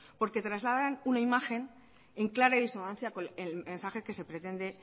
porque trasladan una imagen en clara discrepancia con el mensaje que se pretende